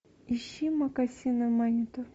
ищи мокасины маниту